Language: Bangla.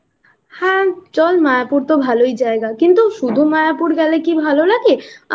হ্যাঁ চল মায়াপুর তো ভালো এ জায়গা কিন্তু শুধু মায়াপুর গেলে কি ভালো লাগে